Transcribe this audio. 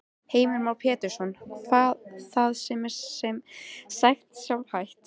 Heimir Már Pétursson: Það er sem sagt sjálfhætt?